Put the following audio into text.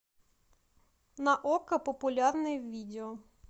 на окко популярные видео